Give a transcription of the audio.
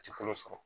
Ji kolo sɔrɔ